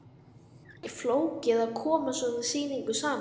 Er þetta ekkert flókið að koma svona sýningu saman?